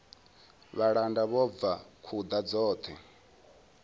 vhalanda vho bva khuḓa dzoṱhe